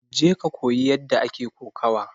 Je ka koyi yadda ake kokawa!